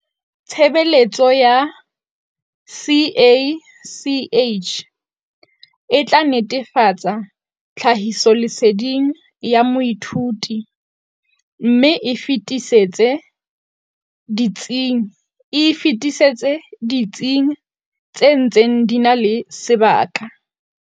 Tshebeletso ya CACH e tla netefatsa tlhahisoleseding ya moithuti mme e e fetisetse ditsing tse ntseng di na le sebaka.